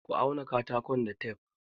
Ka auna katakon da tef!